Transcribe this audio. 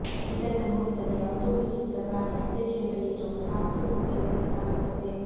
ಇದನ್ನ ನೋಡಿದಾಗ ಯಾವುದೋ ವಿಚಿತ್ರ ಪ್ರಾಣಿ ಅಡ್ಡಗೆರೆಗಳಿರೋ ಸಾಕ್ಸ್ ತೊಟ್ಟಿರುವಂತೆ ಕಾಣುತ್ತದೆ